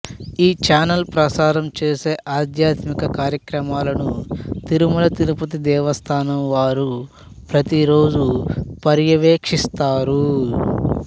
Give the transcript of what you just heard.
ఈ ఛానల్ ప్రసారం చేసే ఆధ్యాత్మిక కార్యక్రమాలను తిరుమల తిరుపతి దేవస్థానం వారు ప్రతిరోజు పర్యవేక్షిస్తారు